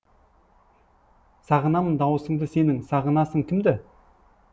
сағынамын дауысыңды сенің сағынасың кімді